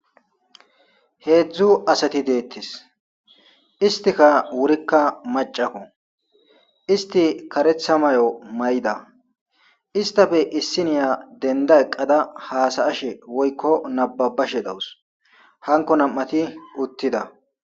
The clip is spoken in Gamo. hedzdzu asati deettis istika wurikka macako isti karetha mayo mayida istafe issiniya denda eqqada haasayashe woykko nababashe dawus hanko nam7ati uttida.